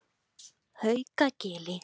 Haukagili